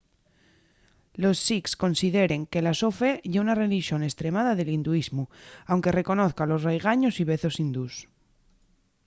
los sikhs consideren que la so fe ye una relixón estremada del hinduismu anque reconozan los raigaños y vezos hindús